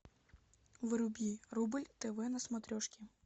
вруби рубль тв на смотрешке